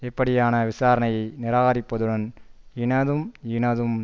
இப்படியான விசாரணையை நிராகரிப்பதுடன் இனதும் இனதும்